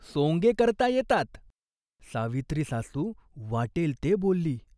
सोंगे करता येतात." सावित्रीसासू वाटेल ते बोलली.